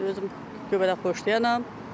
Mən özüm göbələk xoşlayanam.